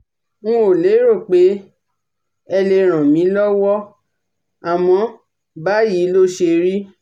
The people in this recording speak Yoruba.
n ò lérò pé ẹ lè ràn mí lọ́wọ́ àmọ́ báyìí ló ṣérí